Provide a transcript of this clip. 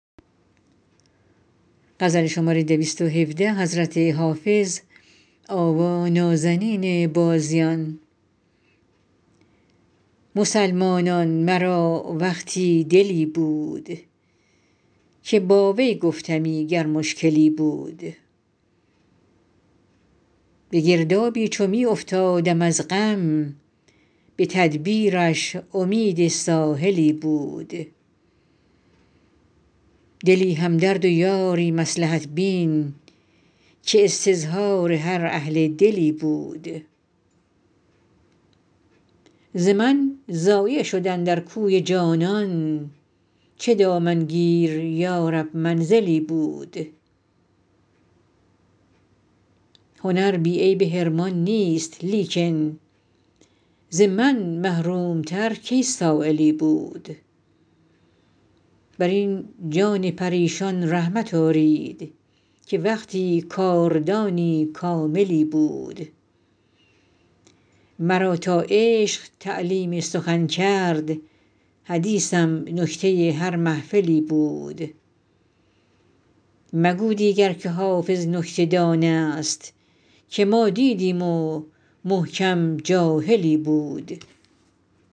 مسلمانان مرا وقتی دلی بود که با وی گفتمی گر مشکلی بود به گردابی چو می افتادم از غم به تدبیرش امید ساحلی بود دلی همدرد و یاری مصلحت بین که استظهار هر اهل دلی بود ز من ضایع شد اندر کوی جانان چه دامنگیر یا رب منزلی بود هنر بی عیب حرمان نیست لیکن ز من محروم تر کی سایلی بود بر این جان پریشان رحمت آرید که وقتی کاردانی کاملی بود مرا تا عشق تعلیم سخن کرد حدیثم نکته هر محفلی بود مگو دیگر که حافظ نکته دان است که ما دیدیم و محکم جاهلی بود